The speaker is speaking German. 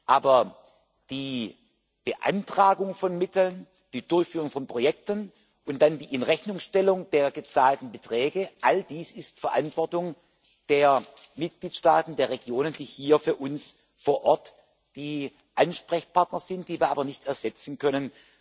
Aber die Beantragung von Mitteln, die Durchführung von Projekten und dann die Inrechnungstellung der gezahlten Beträge all dies ist Verantwortung der Mitgliedstaaten, der Regionen, die hier für uns vor Ort die Ansprechpartner sind, die wir aber nicht ersetzen können.